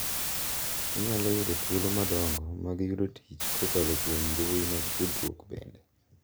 Inyalo yudo thuolo madongo mag yudo tich kokalo kuom mbui mag tudruok bende.